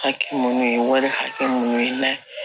Hakɛ minnu ye wari hakɛ mun ye